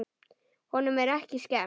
Honum er ekki skemmt.